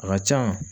A ka can